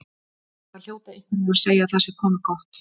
Það hljóta einhverjir að segja að það sé komið gott.